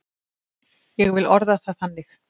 Ég vil orða það þannig.